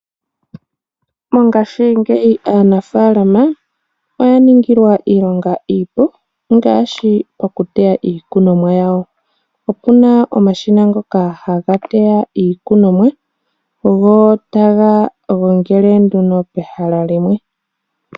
Mongaashingeyi aanafalama oya ningilwa iilonga iipu ngaashi okuteya iikunomwa yawo okuna omashina ngoka haga teya iikunomwa go taga gongele nduno pehala limwe.